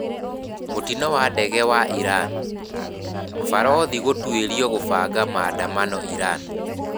Mũtino wa ndege ya Iran: Barothi gũtuĩrwo kũbanga maandamano Iran